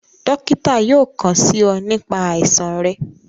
Dokita yóò kàn sí ọ nípa àìsàn rẹ